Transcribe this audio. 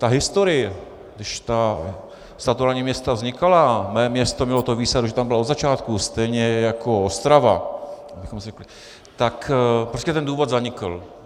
Ta historie, když ta statutární města vznikala, moje město mělo tu výsadu, že tam bylo od začátku, stejně jako Ostrava, tak prostě ten důvod zanikl.